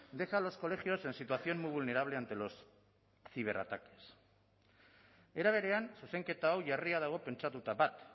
deja a los colegios en situación muy vulnerable ante los ciberataques era berean zuzenketa hau jarria dago pentsatuta bat